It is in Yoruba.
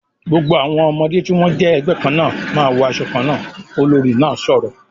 "Gbogbo àwọn ọmọdé tí wọ́n jẹ́ ẹgbẹ́ kan náà ma wọ asọ kan náà!", olórí náà sọ̀rọ̀